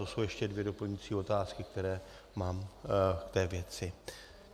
To jsou ještě dvě doplňující otázky, které mám k té věci.